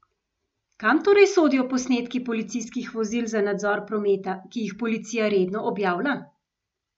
Kam torej sodijo posnetki policijskih vozil za nadzor prometa, ki jih policija redno objavlja?